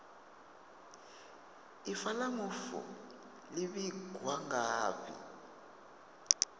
ifa la mufu li vhigwa ngafhi